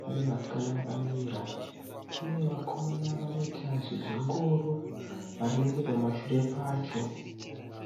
Pane vasikana vakamira. Pane vakomana vanoita zvezvingoro vari neche pamashure pacho.